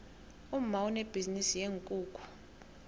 umma unebhizinisi yeenkukhu